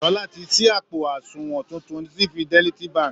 Sọlá ti ṣí àpò àsunwọ̀n tuntun sí Fidelity Bank